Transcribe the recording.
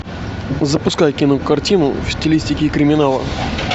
запускай кинокартину в стилистике криминала